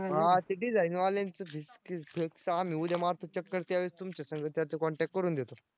design वाल्यांचं आहे. आम्ही उद्या मारतो चक्कर त्यावेळेस तुमच्यासंग त्याचा contact करून देतो.